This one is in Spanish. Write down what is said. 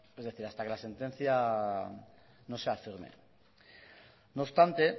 es decir hasta que la sentencia no sea firme no obstante